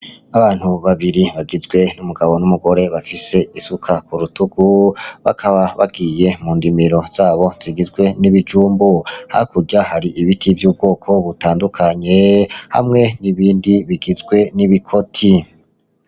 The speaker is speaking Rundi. Abantu babiri bagizwe n'umugabo n'umugore bafise isuka ku rutugu, bakaba bagiye mu ndimiro zabo zigizwe n'ibijumbu. Hakurya hari ibiti vy'ubwoko butandukanye hamwe n'ibindi bigizwe n'ibikoti.